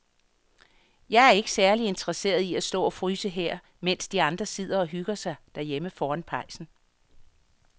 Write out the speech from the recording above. Jeg er ikke særlig interesseret i at stå og fryse her, mens de andre sidder og hygger sig derhjemme foran pejsen.